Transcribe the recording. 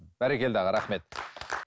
бәрекелді аға рахмет